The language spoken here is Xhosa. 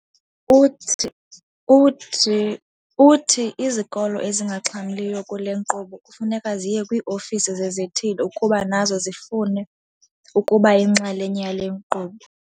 Uthi izikolo ezingaxhamliyo kule nkqubo kufuneka ziye kwii-ofisi zezithili ukuba nazo zifune ukuba yinxalenye yale nkqubo.